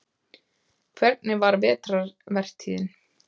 Hvernig var vetrarvertíðin?